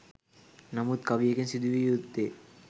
නමුත් කවියකින් සිදු විය යුත්තේ